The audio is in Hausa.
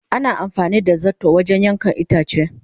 Ana amfani da zarto wajen yankan itace.